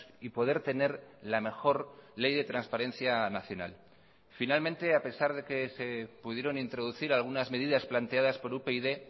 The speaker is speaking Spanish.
y poder tener la mejor ley de transparencia nacional finalmente a pesar de que se pudieron introducir algunas medidas planteadas por upyd